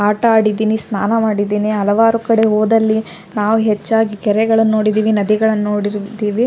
ಆಟ ಆಡಿದ್ದೀನಿ ಸ್ನಾನ ಮಾಡಿದ್ದೀನಿ ಹಲವಾರು ಕಡೆ ಹೋದಲ್ಲಿ ನಾವು ಹೆಚ್ಚಾಗಿ ಕೆರೆಗಳನ್ನು ನೋಡಿದ್ದೀವಿ ನದಿಗಳನ್ನು ನೋಡಿದ್ದೀವಿ .